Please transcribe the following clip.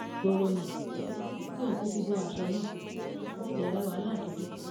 ìgboro ni èyí ló mú kí òun kúkú bọ aṣọ náà tí àwọn sì bẹrẹ wàhálà gidi